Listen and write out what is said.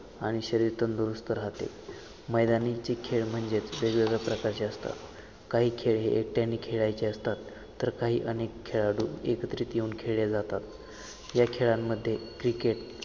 आणि शरीर तंदुरुस्थ राहते मैदानीचे खेळ म्हणजेच वेगवेगळ्या प्रकारचे असतात काही खेळ हे एकटयाने खेळायचे असतात तर काही अनेक खेळाडू एकत्रित येऊन खेळल्या जातात या खेळांमध्ये क्रिकेट